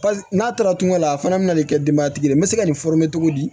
n'a taara tunga la a fana bɛna ni kɛ denbayatigi ye n bɛ se ka nin cogo di